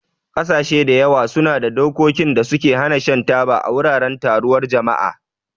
Ƙasashe da yawa suna da dokokin da suka hana shan taba a wuraren taruwar jama'a.